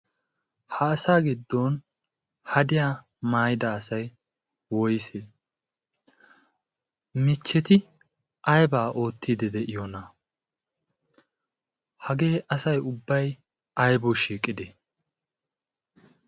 Ha asaa giddon hadiya maayida asay woysee? mechcheti aybaa oottiddi de'iyoonaa? hagee asay ubbay aybawu shiiqidee?